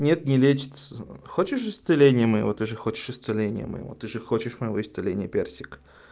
нет не лечится хочешь исцеление моего ты же хочешь исцеления моего ты же хочешь моего исцеления персик